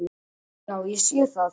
Já, ég sé það!